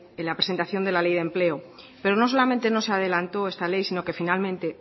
la presentación de la ley de empleo pero no solamente no se adelantó esta ley sino que finalmente